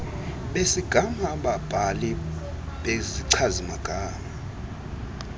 besigama ababhali bezichazimagama